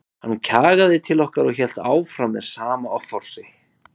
Hann kjagaði til okkar og hélt áfram með sama offorsinu.